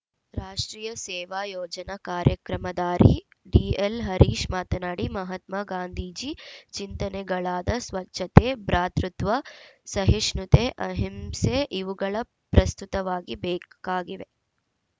ರಾಷ್ಟ್ರೀಯ ಸೇವಾ ಯೋಜನ ಕಾರ್ಯಕ್ರಮಾಧಿಕಾರಿ ಡಿಎಲ್‌ ಹರೀಶ ಮಾತನಾಡಿ ಮಹಾತ್ಮ ಗಾಂಧೀಜಿ ಚಿಂತನೆಗಳಾದ ಸ್ವಚ್ಛತೆ ಭ್ರಾತೃತ್ವ ಸಹಿಷ್ಣುತೆ ಅಹಿಂಸೆ ಇವುಗಳ ಪ್ರಸ್ತುತವಾಗಿ ಬೇಕಾಗಿವೆ